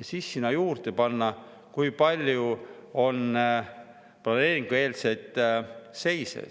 ning kui palju on planeeringueelseid seise.